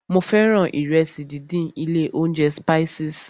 Mo fẹ́ràn ìrẹsì díndín ilé óúnjẹ Spices.